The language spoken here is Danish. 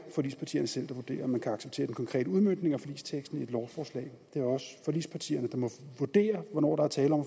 forligspartierne selv der vurderer om man kan acceptere den konkrete udmøntning af forligsteksten i et lovforslag det er også forligspartierne der må vurdere hvornår der er tale om